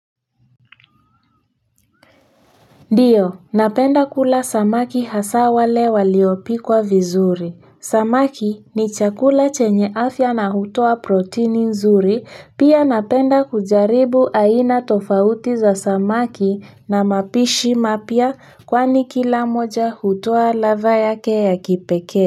Ndiyo napenda kula samaki hasa wale waliopikwa vizuri samaki ni chakula chenye afya na hutoa protini nzuri pia napenda kujaribu aina tofauti za samaki na mapishi mapya kwani kila moja hutoa ladha yake ya kipekee.